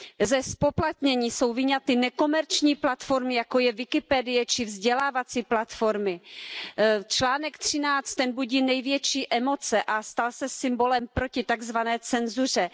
Ze zpoplatnění jsou vyňaty nekomerční, platformy jako je Wikipedie či vzdělávací platformy. Článek 13, ten budí největší emoce a stal se symbolem proti tak zvané cenzuře.